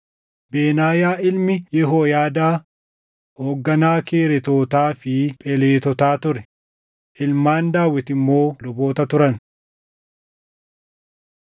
Benaayaa ilmi Yehooyaadaa hoogganaa Kereetotaa fi Pheletotaa ture; ilmaan Daawit immoo luboota turan.